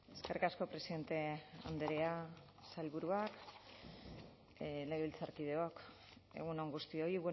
eskerrik asko presidente andrea sailburuak legebiltzarkideok egun on guztioi